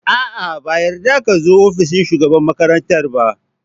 A'a! ba a yarda ka zo ofishin shugaban makarantar ba.